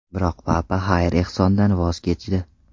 Biroq Papa xayr-ehsondan voz kechdi.